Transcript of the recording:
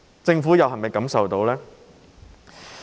政府能否感受到呢？